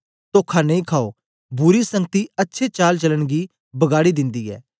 तोखा नेई खायो बुरी संगति अच्छे चाल चलन गी बगाड़ी दिन्दी ऐ